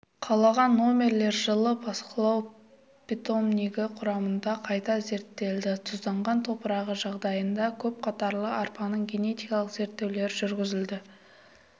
қалған номерлер жылы бақылау питомнигі құрамында қайта зерттелді тұзданған топырағы жағдайында көпқатарлы арпаның генетикалық зерттеулері жүргізілді